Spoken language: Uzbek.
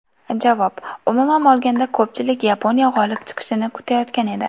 Javob: Umuman olganda, ko‘pchilik Yaponiya g‘olib chiqishini kutayotgan edi.